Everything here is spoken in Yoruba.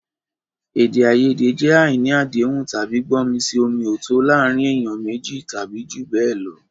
Èdè àìyedè jẹ́ àìní àdéhùn tàbí gbọ́mi-sí-omi-ò-tó o láàárín ènìyàn méjì tàbí jù bẹ́ẹ̀ lọ.